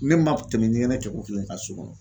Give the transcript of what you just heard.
Ne ma tɛmɛ ɲɛgɛnɛ kɛ ko fila in ka kan so kɔnɔ.